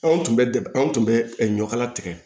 Anw tun bɛ de an tun bɛ ɲɔkala tigɛ